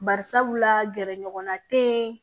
Bari sabula gɛrɛɲɔgɔnna te